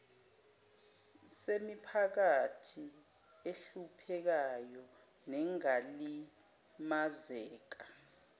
semiphakathi ehluphekayo nengalimazeka